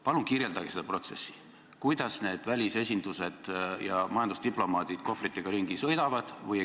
Palun kirjeldage seda protsessi, kuidas need välisesindused ja majandusdiplomaadid kohvritega ringi sõidavad.